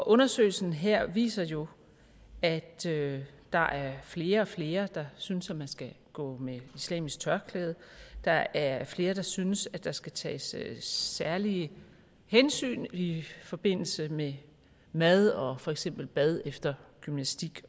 undersøgelsen her viser jo at der er flere og flere der synes at man skal gå med islamisk tørklæde der er flere der synes der skal tages særlige hensyn i forbindelse med mad og for eksempel bad efter gymnastik